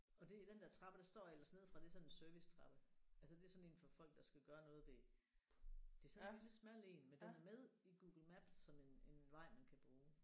Og det i den der trappe der står ellers neden fra det sådan en servicetrappe altså det er sådan en for folk der skal gøre noget ved. Det er sådan en lille smal en men den er med i Google Maps som en en vej man kan bruge